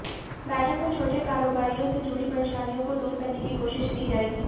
बैठक में छोटे कारोबारियों से जुड़ी परेशानियों को दूर करने की कोशिश की जाएगी